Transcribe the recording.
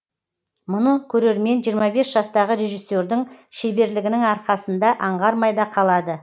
мұны көрермен жиырма бес жастағы режиссердің шеберлігінің арқасында аңғармай да қалады